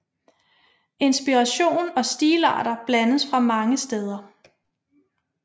Inspiration og stilarter blandes fra mange steder